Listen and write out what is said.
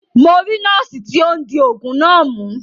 Mo ri noosi ti o n di oogun na mu.